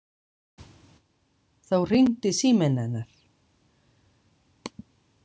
Þá hringdi síminn hennar.